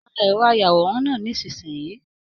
Pá ẹrọ ayàwòrán náà nisinyii!